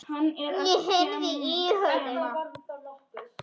Ég heyrði í honum!